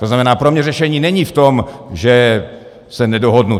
To znamená, pro mě řešení není v tom, že se nedohodnu.